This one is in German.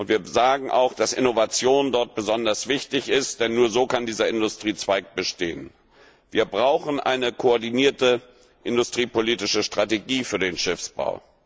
Wir sagen auch, dass Innovation dort besonders wichtig ist, denn nur so kann dieser Industriezweig bestehen. Wir brauchen eine koordinierte industriepolitische Strategie für den Schiffsbau.